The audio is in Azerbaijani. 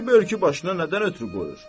Kişi börkünü başına nədən ötrü qoyur?